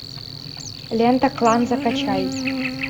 лента клан закачай